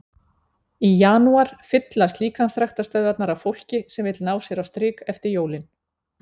Í janúar fyllast líkamsræktarstöðvarnar af fólki sem vill ná sér á strik eftir jólin.